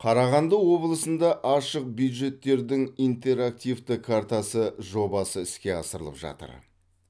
қарағанды облысында ашық бюджеттердің интерактивті картасы жобасы іске асырылып жатыр